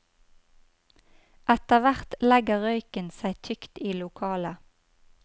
Etter hvert legger røyken seg tykt i lokalet.